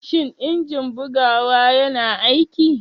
Shin injin bugawa yana aiki?